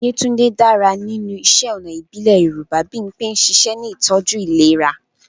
Yetunde dára nínú iṣẹ́ ọnà ìbílẹ̀ Yorùbá. Bimpe ń ṣiṣẹ́ ní ìtọ́jú ìlera.